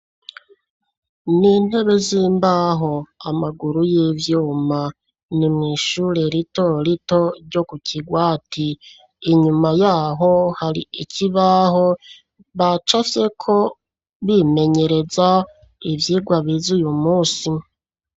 Ni intebe z'imbaho, amaguru y'ivyuma, ni mw'ishure rito rito, ryo ku Kigwati; inyuma y'aho, hari ikibaho bacafyeko, bimenyereza, ivyigwa bize uyu munsi.